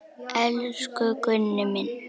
Elsku Gunni minn.